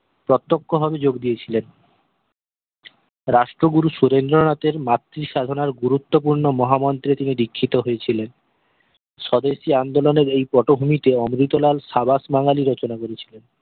প্রত্যক্ষ ভাবে যোগ দিয়েছিলেন রাষ্ট্রগুরু সুরেন্দ্র নাথের মাতৃ সাধনার গুরুত্বপূর্ণ মহা মন্ত্রে তিনি দীক্ষিত হয়েছিলেন স্বদেশি আন্দোলনের এই পটভূমিতে অমৃতলাল সাবাস বাঙ্গালি রচনা করেছিলেন